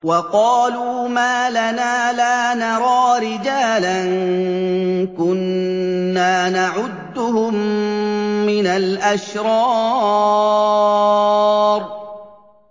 وَقَالُوا مَا لَنَا لَا نَرَىٰ رِجَالًا كُنَّا نَعُدُّهُم مِّنَ الْأَشْرَارِ